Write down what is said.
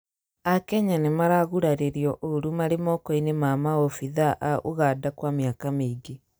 akenya nĩmaragũraririo ũru marĩ moko-inĩ ma maobĩthaa a Uganda kwa mĩaka mĩingĩ